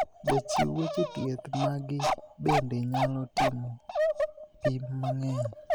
Jachiw weche thieth magi bende nyalo timo pim mangeny.